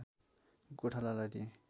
गोठालालाई दिएँ